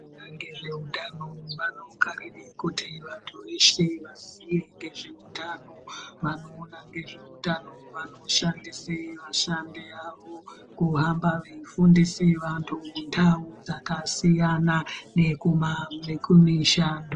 Vanoona ngezveutano vanokarire kuti vantu veshe vaziye ngezveutano. Vanoona ngezveutano vanoshandise vashandi vavo kuhamba veifundise antu mundau dzakasiyana dzekumisha.